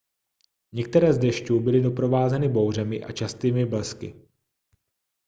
některé z dešťů byly doprovázeny bouřemi a častými blesky